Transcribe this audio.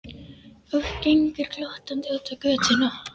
Og gengur glottandi út á götuna.